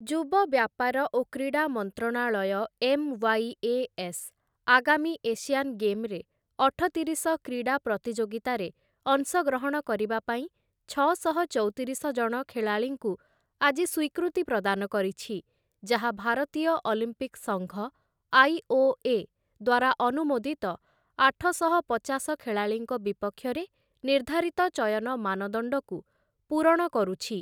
ଯୁବ ବ୍ୟାପାର ଓ କ୍ରୀଡ଼ା ମନ୍ତ୍ରଣାଳୟ ଏମ୍‌.ୱାଇ.ଏ.ଏସ୍‌. ଆଗାମୀ ଏସିଆନ୍ ଗେମ୍‌ ରେ ଅଠତିରିଶ କ୍ରୀଡ଼ା ପ୍ରତିଯୋଗୀତାରେ ଅଂଶଗ୍ରହଣ କରିବା ପାଇଁ ଛଅଶହ ଚଉତିରିଶ ଜଣ ଖେଳାଳୀଙ୍କୁ ଆଜି ସ୍ୱୀକୃତି ପ୍ରଦାନ କରିଛି, ଯାହା ଭାରତୀୟ ଅଲମ୍ପିକ୍‌ ସଙ୍ଘ ଆଇ.ଓ.ଏ. ଦ୍ୱାରା ଅନୁମୋଦିତ ଆଠଶହ ପଚାଶ ଖେଳାଳିଙ୍କ ବିପକ୍ଷରେ ନିର୍ଦ୍ଧାରିତ ଚୟନ ମାନଦଣ୍ଡକୁ ପୂରଣ କରୁଛି ।